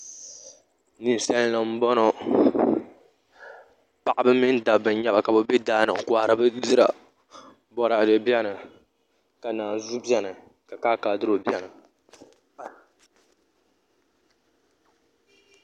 Ninsal nim n boŋo paɣaba mini dabba n nyɛba ka bi bɛ daani n kohari Bindira Boraadɛ biɛni ka naanzuu biɛni ka kaakaadiro biɛni